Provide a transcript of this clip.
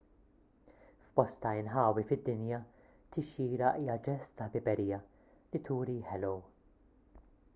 f'bosta inħawi fid-dinja tixjira hija ġest ta' ħbiberija li turi ħellow